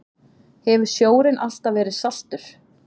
Hefur sjórinn alltaf verið saltur?